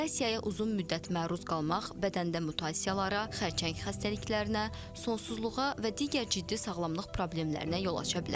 Radiasiyaya uzun müddət məruz qalmaq bədəndə mutasiyalara, xərçəng xəstəliklərinə, sonsuzluğa və digər ciddi sağlamlıq problemlərinə yol aça bilər.